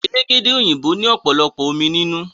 Elégédé òyìnbó òpòlopò omí nínú.